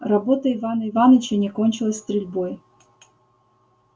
работа ивана иваныча не кончилась стрельбой